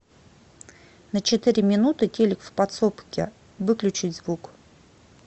на четыре минуты телик в подсобке выключить звук